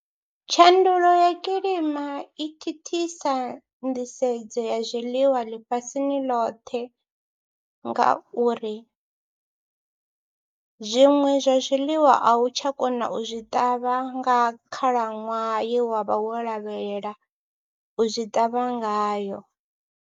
Tshandulo ya kilima i thithisa nḓisedzo ya zwiḽiwa ḽifhasini ḽoṱhe ngauri zwiṅwe zwa zwiḽiwa a u tsha kona u zwi ṱavha nga khalaṅwaha ye wa vha wo lavhelela u zwi ṱavha ngayo.